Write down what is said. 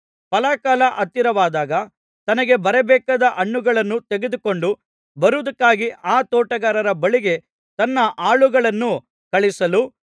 ಫಲಕಾಲ ಹತ್ತಿರವಾದಾಗ ತನಗೆ ಬರಬೇಕಾದ ಹಣ್ಣುಗಳನ್ನು ತೆಗೆದುಕೊಂಡು ಬರುವುದಕ್ಕಾಗಿ ಆ ತೋಟಗಾರರ ಬಳಿಗೆ ತನ್ನ ಆಳುಗಳನ್ನು ಕಳುಹಿಸಲು